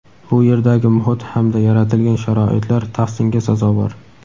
bu yerdagi muhit hamda yaratilgan sharoitlar tahsinga sazovor.